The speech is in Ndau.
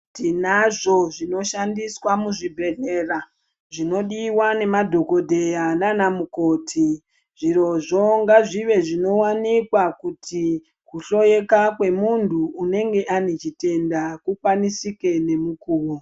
Tinazvo zvinoshandiswa muzvibhendleya zvinodiwa ngemadhokodheya nanamukoti. Zvirozvo ngazvizvive zvinowanikwa kuti kuhloyeka kwemuntu unenge ane chitenda kukwanisike nemukuwo.